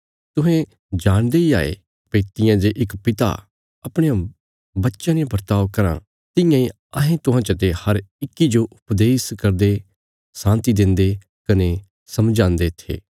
तुहें जाणदे इ हाये भई तियां जे इक पिता अपणे बच्चयां ने बर्ताव कराँ तियां इ अहें तुहां चते हर इक्की जो उपदेश करदे शान्ति देन्दे कने समझान्दे थे